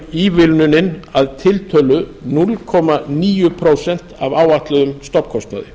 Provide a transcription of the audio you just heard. ívilnunin að tiltölu núll komma níu prósent af áætluðum stofnkostnaði